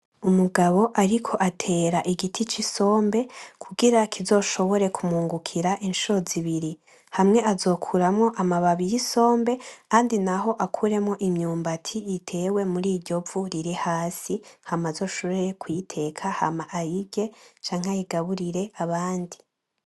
Umugabo ariko atera igiti cisombe kugira kizoshobore kumwungukira incuro zibiri. hamwe azokuramwo amababi yisombe ahandi naho akuremwo imyumbati itewe muri iryovu riri hasi, hama azoshobore kuyiteka hama ayirye canke ayigaburire abandi.